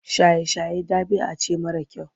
Shaye-shaye ɗabi'a ce mara kyau.